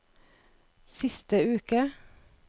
siste uke